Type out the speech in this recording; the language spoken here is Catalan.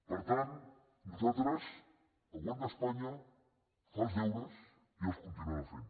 per tant nosaltres el govern d’espanya fa els deures i els continuarà fent